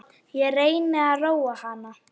Ég reyni að róa hana.